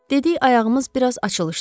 Dedik ayağımız biraz açılsın.